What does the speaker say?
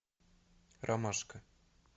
ромашка